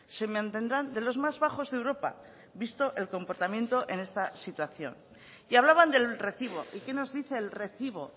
se mantendrán de los más bajos de europa visto el comportamiento en esta situación y hablaban del recibo y qué nos dice el recibo